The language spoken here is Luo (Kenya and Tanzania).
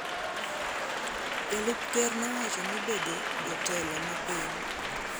Jalup Ker nowacho ni bedo jotelo ma piny,